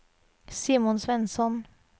Simon Svensson